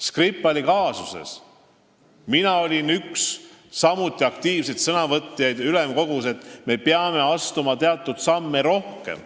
Skripali kaasuses olin mina samuti üks aktiivseid sõnavõtjaid ülemkogus, kes ütles, et me peame astuma rohkem teatud samme.